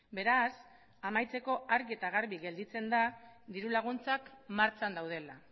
beraz amaitzeko argi eta garbi gelditzen da dirulaguntzak martxan daudela